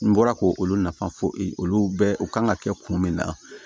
N bɔra k'olu nafa fɔ olu bɛɛ u kan ka kɛ kun min na